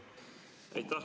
Aitäh!